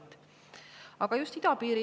Eriti aga just idapiiri.